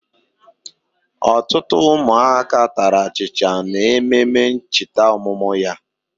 Otutu umuaka tara achicha na ememe nchita omumu ya.